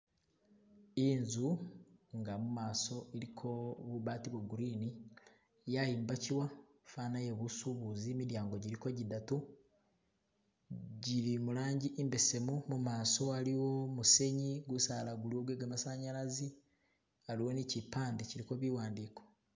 Inzu inga mumaso iliko bubaati bo green yayimbachiwa fana yebusubuzi midyango giliko gidatu gili mulangi imbesemu mumaso waliwo musenyi, gisala guliwo gwe gamasanyalaze haliwo ni chipande chiliko biwandiko